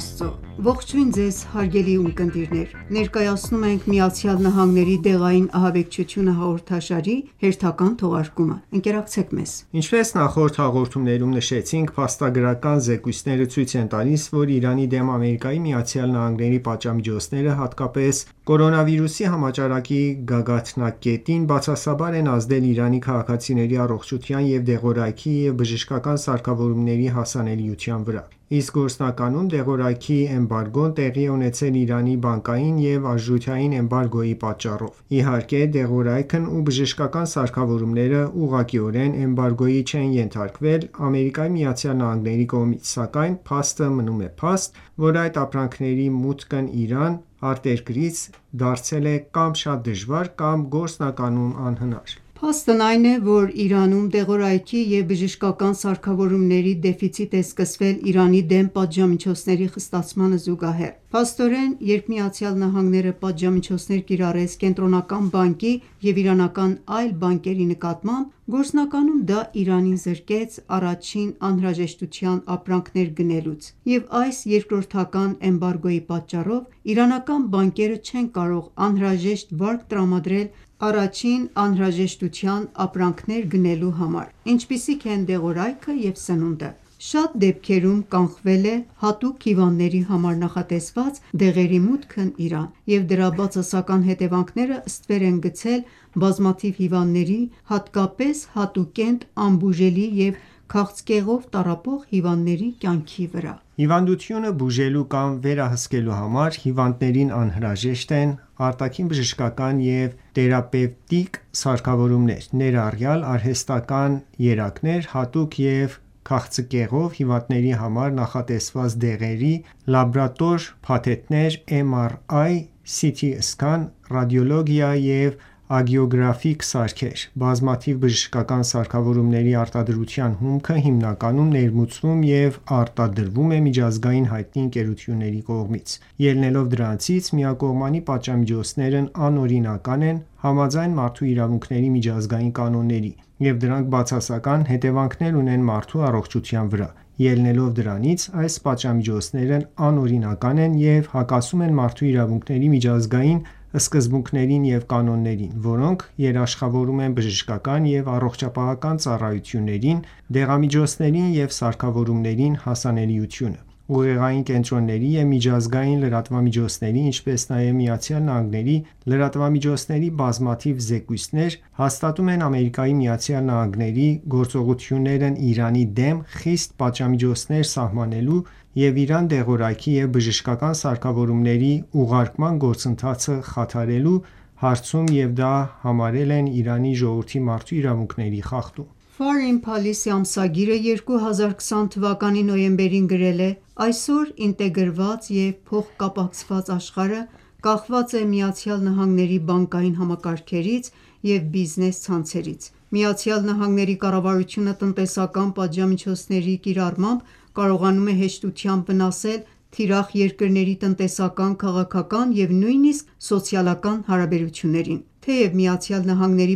Աստծո։ Ողջույն ձեզ հարգելի ունկնդիրներ: Ներկայացնում ենք «ԱՄՆ-ի դեղային ահաբեկչությունը» հաղորդաշարի վերջին թողարկումը: Ընկերակցեք մեզ։ Ինչպես նախորդ հաղորդումներում նշեցինք, փաստագրական զեկույցները ցույց են տալիս, որ Իրանի դեմ Ամերիկայի Միացյալ Նահանգների պատժամիջոցները, հատկապես Կորոնավիրուսի համաճարակի գագաթնակետին, բացասաբար են ազդել Իրանի քաղաքացիների առողջության և դեղորայքի և բժշկական սարքավորումների հասանելիության վրա։ Իսկ գործնականում դեղորայքի էմբարգոն տեղի է ունեցել Իրանի բանկային և արժութային էմբարգոյի պատճառով։ Իհարկե, դեղորայքն ու բժշկական սարքավորումները ուղղակիորեն էմբարգոյի չեն ենթարկվել Ամերիկայի Միացյալ Նահանգների կողմից, սակայն փաստը մնում է փաստ, որ այդ ապրանքների մուտքն Իրան արտերկրից դարձել է կա՛մ շատ դժվար, կա՛մ գործնականում անհնար: Փաստն այն է, որ Իրանում դեղորայքի և բժշկական սարքավորումների դեֆիցիտ է սկսվել Իրանի դեմ պատժամիջոցների խստացմանը զուգահեռ, փաստորեն, երբ ԱՄՆ-ն պատժամիջոցներ կիրառեց Կենտրոնական բանկի և իրանական այլ բանկերի նկատմամբ, գործնականում դա Իրանին զրկեց առաջին անհրաժեշտության ապրանքներ գնելուց և այս երկրորդական էմբարգոյի պատճառով իրանական բանկերը չեն կարող անհրաժեշտ վարկ տրամադրել առաջին անհրաժեշտության ապրանքներ գնելու համար, ինչպիսիք են դեղորայքը և սնունդը: Շատ դեպքերում կանխվել է հատուկ հիվանդների համար նախատեսված դեղերի մուտքը Իրան, և դրա բացասական հետևանքները ստվեր են գցել բազմաթիվ հիվանդների, հատկապես հատուկենտ, անբուժելի և քաղցկեղով տառապող հիվանդների կյանքի վրա: Հիվանդությունը բուժելու կամ վերահսկելու համար հիվանդներին անհրաժեշտ են արտաքին բժշկական և թերապևտիկ սարքավորումներ, ներառյալ արհեստական երակներ, հատուկ և քաղցկեղով հիվանդների համար նախատեսված դեղերի լաբորատոր փաթեթներ, MRI, «Սիթի Սկան», ռադիոլոգիա և անգիոգրաֆիկ սարքեր: Բազմաթիվ բժշկական սարքավորումների արտադրության հումքը հիմնականում ներմուծվում և արտադրվում է միջազգային հայտնի ընկերությունների կողմից։ Ելնելով դրանից՝ միակողմանի պատժամիջոցներն անօրինական են՝ համաձայն մարդու իրավունքների միջազգային կանոնների, և դրանք բացասական հետևանքներ ունեն մարդու առողջության վրա։ Ելնելով դրանից՝ այս պատժամիջոցներն անօրինական են և հակասում են մարդու իրավունքների միջազգային սկզբունքներին ու կանոններին, որոնք երաշխավորում են բժշկական և առողջապահական ծառայություններին, դեղամիջոցներին և սարքավորումներին հասանելիությունը։ Ուղեղային կենտրոնների և միջազգային լրատվամիջոցների, ինչպես նաև Միացյալ Նահանգների լրատվամիջոցների բազմաթիվ զեկույցներ հաստատում են Ամերիկայի Միացյալ Նահանգների գործողություններն Իրանի դեմ խիստ պատժամիջոցներ սահմանելու և Իրան դեղորայքի ու բժշկական սարքավորումների ուղարկման գործընթացը խաթարելու հարցում և դա համարել են Իրանի ժողովրդի մարդու իրավունքների խախտում։ Foreign Policy ամսագիրը 2020 թվականի նոյեմբերին գրել է. «Այսօր ինտեգրված և փոխկապակցված աշխարհը կախված է ԱՄՆ բանկային համակարգերից և բիզնես ցանցերից։ ԱՄՆ կառավարությունը տնտեսական պատժամիջոցների կիրառմամբ կարողանում է հեշտությամբ վնասել թիրախ երկրների տնտեսական, քաղաքական և նույնիսկ սոցիալական հարաբերություններին։ Թեև ԱՄՆ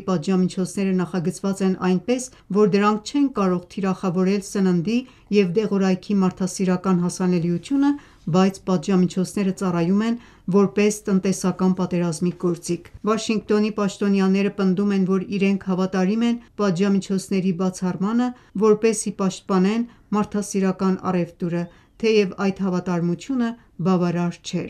պատժամիջոցները նախագծված են այնպես, որ դրանք չեն կարող թիրախավորել սննդի և դեղորայքի մարդասիրական հասանելիությունը, բայց պատժամիջոցները ծառայում են որպես տնտեսական պատերազմի գործիք: Վաշինգտոնի պաշտոնյաները պնդում են, որ իրենք հավատարիմ են պատժամիջոցների «բացառմանը», որպեսզի պաշտպանեն մարդասիրական առևտուրը, թեև այդ հավատարմությունը բավարար չէ»: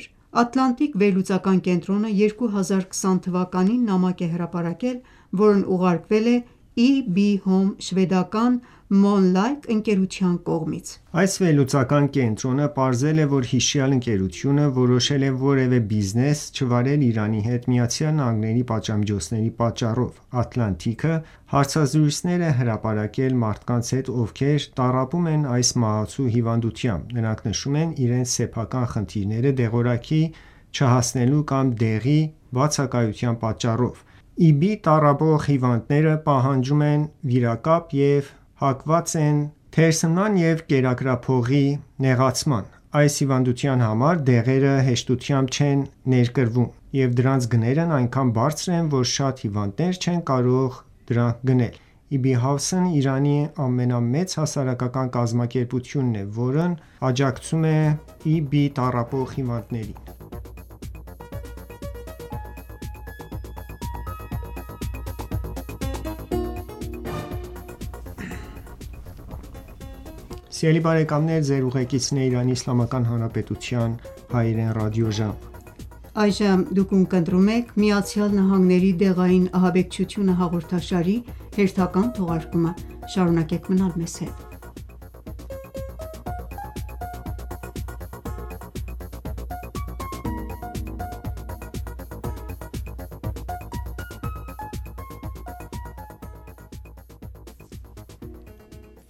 Atlantic վերլուծական կենտրոնը 2020 թվականին նամակ է հրապարակել, որն ուղարկվել է EB Home շվեդական Molnlycke ընկերության կողմից։ Այս վերլուծական կենտրոնը պարզել է, որ հիշյալ ընկերությունը որոշել է որևէ բիզնես չվարել Իրանի հետ ԱՄՆ պատժամիջոցների պատճառով։ Atlantic-ը հարցազրույցներ է հրապարակել մարդկանց հետ, ովքեր տառապում են այս մահացու հիվանդությամբ։ Նրանք նշում են իրենց սեփական խնդիրները դեղորայքի չհասնելու կամ դեղի բացակայության պատճառով։ էպիդերմոլիզի բուլոզայով (EB) տառապող հիվանդները պահանջում են վիրակապ և հակված են թերսնման և կերակրափողի նեղացման: Այս հիվանդության համար դեղերը հեշտությամբ չեն ներկրվում, և դրանց գներն այնքան բարձր են, որ շատ հիվանդներ չեն կարող դրանք գնել։ EB House-ն Իրանի ամենամեծ հասարակական կազմակերպությունն է, որն աջակցում է էպիդերմոլիզի բուլոզայով (EB) տառապող հիվանդներին: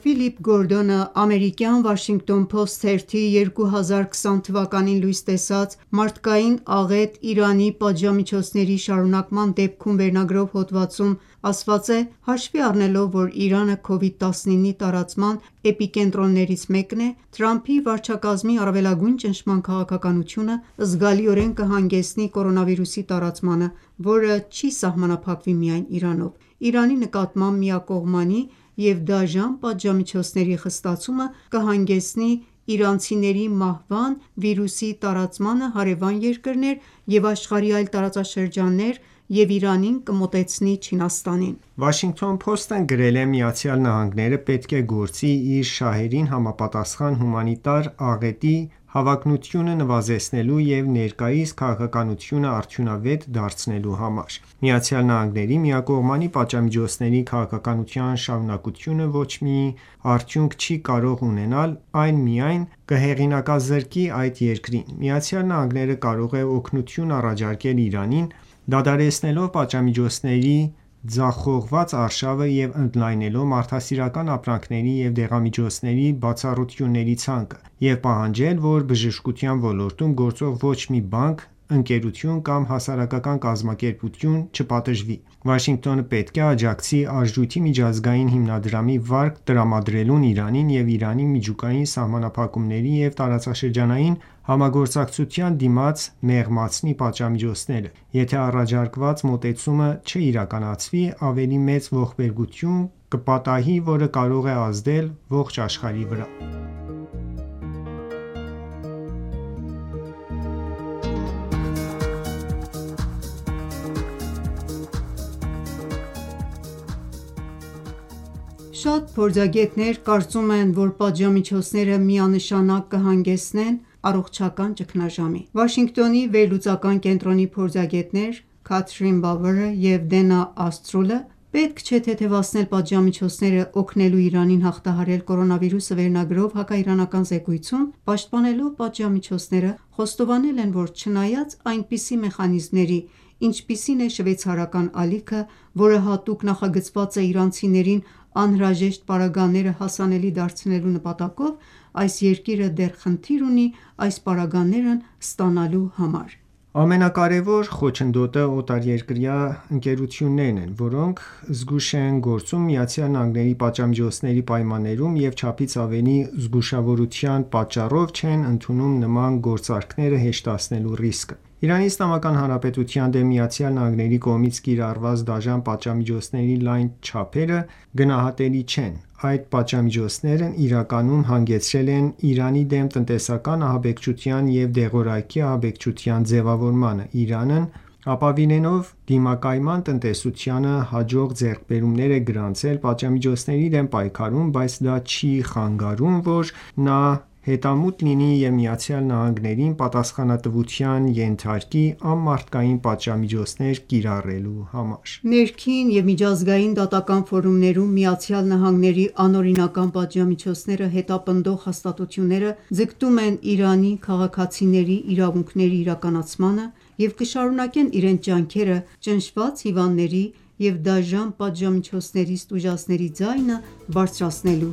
Ֆիլիպ Գորդոնը ամերիկյան Washington Post թերթի 2020 թ․ լույս տեսած «Մարդկային աղետ Իրանի պատժամիջոցների շարունակման դեպքում» վերնագրով հոդվածում ասված է. «Հաշվի առնելով, որ Իրանը Covid-19-ի տարածման էպիկենտրոններից մեկն է, Թրամփի վարչակազմի առավելագույն ճնշման քաղաքականությունը, զգալիորեն կհանգեցնի կորոնավիրուսի տարածմանը, որը չի սահմանափակվի միայն Իրանով։ Իրանի նկատմամբ միակողմանի և դաժան պատժամիջոցների խստացումը կհանգեցնի իրանցիների մահվան, վիրուսի տարածմանը հարևան երկրներ և աշխարհի այլ տարածաշրջաններ և Իրանին կմոտեցնի Չինաստանին»: The Washington Post-ն գրել էր. «Միացյալ Նահանգները պետք է գործի իր շահերին համապատասխան՝ հումանիտար աղետի հավանականությունը նվազեցնելու և ներկայիս քաղաքականությունը արդյունավետ դարձնելու համար»: Միացյալ Նահանգների միակողմանի պատժամիջոցների քաղաքականության շարունակությունը ոչ մի արդյունք չի կարող ունենալ, այն միայն կհեղինակազրկի այդ երկրին։ ԱՄՆ-ն կարող է օգնություն առաջարկել Իրանին՝ դադարեցնելով պատժամիջոցների ձախողված արշավը և ընդլայնելով մարդասիրական ապրանքների և դեղամիջոցների բացառությունների ցանկը։ Եվ պահանջել, որ բժշկության ոլորտում գործող ոչ մի բանկ, ընկերություն կամ հասարակական կազմակերպություն չպատժվի։ Վաշինգտոնը պետք է աջակցի Արժույթի միջազգային հիմնադրամի վարկ տրամադրելուն Իրանին և Իրանի միջուկային սահմանափակումների և տարածաշրջանային համագործակցության դիմաց մեղմացնի պատժամիջոցները: Եթե առաջարկված մոտեցումը չիրականացվի, ավելի մեծ ողբերգություն կպատահի, որը կարող է ազդել ողջ աշխարհի վրա»: Շատ փորձագետներ կարծում են, որ պատժամիջոցները միանշանակ կհանգեցնեն առողջական ճգնաժամի։ Վաշինգտոնի վերլուծական կենտրոնի փորձագետներ Քաթրին Բավըրը, և Դենա Ասթրուլը, «Պետք չէ թեթևացնել պատժամիջոցները՝ օգնելու Իրանին հաղթահարել կորոնավիրուսը» վերնագրով հակաիրանական զեկույցում պաշտպանելով պատժամիջոցները, խոստովանել են, որ չնայած այնպիսի մեխանիզմների, ինչպիսին է շվեյցարական ալիքը, որը հատուկ նախագծված է իրանցիներին անհրաժեշտ պարագաները հասանելի դարձնելու նպատակով, այս երկիրը դեռ խնդիր ունի այդ պարագաներն ստանալու համար։ Ամենակարևոր խոչընդոտը օտարերկրյա ընկերություններն են, որոնք զգույշ են գործում ԱՄՆ պատժամիջոցների պայմաններում և չափից ավելի զգուշավորության պատճառով չեն ընդունում նման գործարքները հեշտացնելու ռիսկը։ Իրանի Իսլամական Հանրապետության դեմ ԱՄՆ-ի կողմից կիրառված դաժան պատժամիջոցների լայն չափերը գնահատելի չեն, այդ պատժամիջոցներն իրականում հանգեցրել են Իրանի դեմ տնտեսական ահաբեկչության և դեղորայքի ահաբեկչության ձևավորմանը։ Իրանն ապավինելով դիմակայուն տնտեսությանը հաջող ձեռքբերումներ է գրանցել պատժամիջոցների դեմ պայքարում բայց դա չի խանգարում, որ նա հետամուտ լինի և ԱՄՆ-ին պատասխանատվության ենթարկի, անմարդկային պատժամիջոցներ կիրառելու համար։ Ներքին և միջազգային դատական ֆորումներում ԱՄՆ-ի անօրինական պատժամիջոցները հետապնդող հաստատությունները ձգտում են Իրանի քաղաքացիների իրավունքների իրականացմանը և կշարունակեն իրենց ջանքերը՝ ճնշված հիվանդների և դաժան պատժամիջոցներից տուժածների ձայնը բարձրացնելու